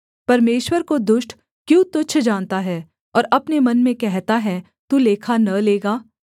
परमेश्वर को दुष्ट क्यों तुच्छ जानता है और अपने मन में कहता है तू लेखा न लेगा